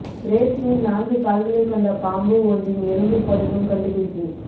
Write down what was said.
பிரேசிலில் நான்கு கால்களைக் கொண்ட பாம்பு ஒன்றின் எலும்புப் படிமம் கண்டுபிடிப்பு